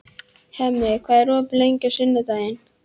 Hemmi, hvað er opið lengi á sunnudaginn?